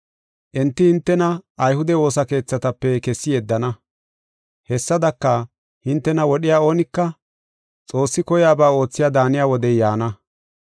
Enti hintena ayhude woosa keethatape kessi yeddana. Hessadaka, hintena wodhiya oonika Xoossi koyaba oothiya daaniya wodey yaana.